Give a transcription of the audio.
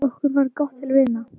Okkur varð gott til vina.